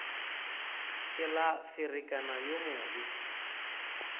ke la ferekana yo mobe